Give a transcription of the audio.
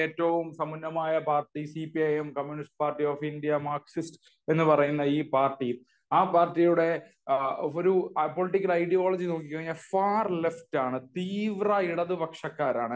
ഏറ്റവും സമ്പന്നമായ party C P I M communist party of India Marxist എന്ന് പറയുന്ന ഈ പാർട്ടി, ആ പാർട്ടിയുടെ ഒരു പൊളിറ്റിക്കൽ ഐഡിയോളജി നോക്കി കഴിഞ്ഞാൽ ഫാർ ലെഫ്റ്റ് ആണ്. തീവ്ര ഇടത്തുപക്ഷക്കാരാണ്.